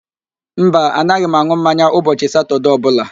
Mba, anaghị m an̄ụ mmanya ụbọchị Satọde ọbụla